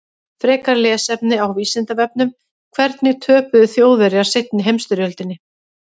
Frekara lesefni á Vísindavefnum: Hvernig töpuðu Þjóðverjar seinni heimsstyrjöldinni?